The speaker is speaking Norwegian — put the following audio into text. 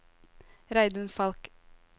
Reidun Falch